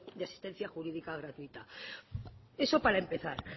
de asistencia jurídica gratuita eso para empezar